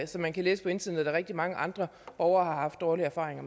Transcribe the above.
man kan læse på internettet rigtig mange andre borgere har haft dårlige erfaringer